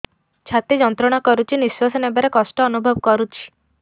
ଛାତି ଯନ୍ତ୍ରଣା କରୁଛି ନିଶ୍ୱାସ ନେବାରେ କଷ୍ଟ ଅନୁଭବ କରୁଛି